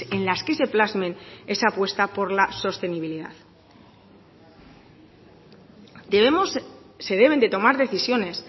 en las que se plasmen esa apuesta por la sostenibilidad debemos se deben de tomar decisiones